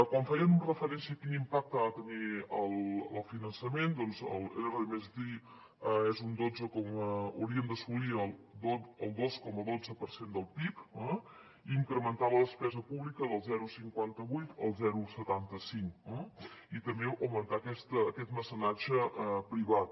quan fèiem referència a quin impacte ha de tenir el finançament doncs l’r+d hauria d’assolir el dos coma dotze per cent del pib eh incrementar la despesa pública del zero coma cinquanta vuit al zero coma setanta cinc i també augmentar aquest mecenatge privat